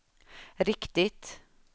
riktigt